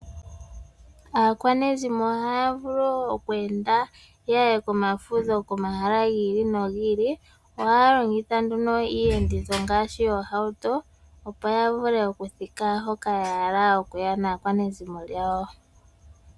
Aakwanezimo ohaya vulu oku enda ya ye komafudho komahala gi ili nogi ili. Ohaya longitha nduno iiyenditho ngaashi oohauto, opo ya vule okuthika hoka ya hala okuya naakwanezimo yawo.